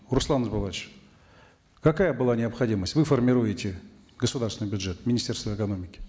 руслан ерболатович какая была необходимость вы формируете государственный бюджет министерство экономики